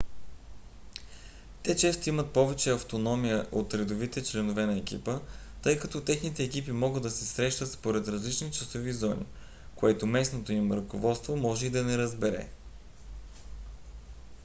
те често имат повече автономия от редовите членове на екипа тъй като техните екипи могат да се срещат според различни часови зони което местното им ръководство може и да не разбере